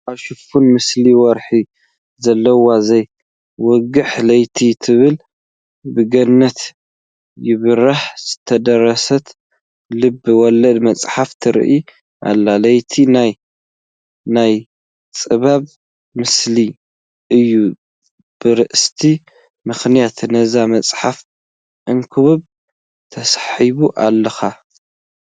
ኣብ ሽፋና ምስሊ ወርሒ ዘለዋ ዘይወግሕ ለይቲ ትብል ብገነት ይብራሕ ዝተደረሰት ልበ ወለድ መፅሓፍ ትርአ ኣላ፡፡ ለይቲ ናይ ናይ ፀበባ ምሳሌ እዩ፡፡ በርእስታ ምኽንያት ነዛ መፅሓፍ ከንብባ ተሳሒበ ኣለኹ፡፡